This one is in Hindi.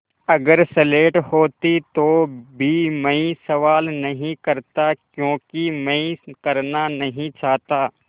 अगर स्लेट होती तो भी मैं सवाल नहीं करता क्योंकि मैं करना नहीं चाहता